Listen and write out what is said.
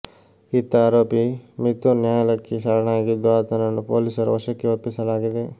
ಇತ್ತ ಆರೋಪಿ ಮಿಥುನ್ ನ್ಯಾಯಾಲಯಕ್ಕೆ ಶರಣಾಗಿದ್ದು ಆತನನ್ನು ಪೊಲೀಸರ ವಶಕ್ಕೆ ಒಪ್ಪಿಸಲಾಗಿದೆ